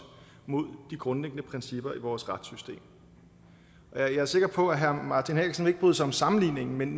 mod de grundlæggende principper i vores retssystem jeg er sikker på at herre martin henriksen ikke bryder sig om sammenligningen men